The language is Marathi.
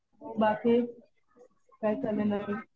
बाकी काय चाललंय नवीन?